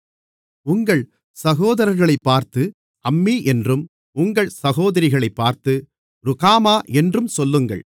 உங்கள் சகோதரர்களைப்பார்த்து அம்மீ என்றும் உங்கள் சகோதரிகளைப்பார்த்து ருகாமா என்றும் சொல்லுங்கள்